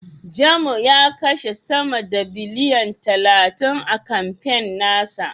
Jamo ya kashe sama da biliyan talatin a kamfen na sa.